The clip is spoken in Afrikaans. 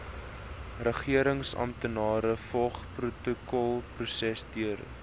regeringsamptenare volg protokolprosedures